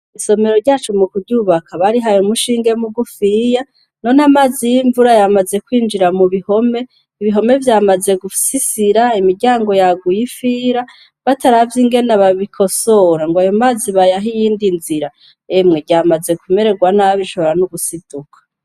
Isomero ryacu mu kuryubaka barihay' umushinge mugufiya, non' amazi yimvura yamaze kwinjira mu bihome, ibihome vyamaze gusisira , imiryango yaguy' ifira, bataravy' ingene babikosora, ng' ay'amazi bayah' iyindi nzira, emwe ryamaze kumererwa nabi rishoboka n' ugusiduka.